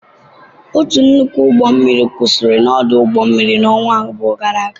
Otu nnukwu ụgbọ mmiri kwụsịrị n'ọdụ ụgbọ mmiri ọnwa abụọ gara aga.